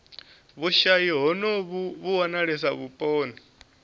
vhushayi honovhu vhu wanalesa vhuponi